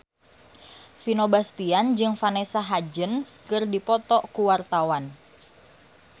Vino Bastian jeung Vanessa Hudgens keur dipoto ku wartawan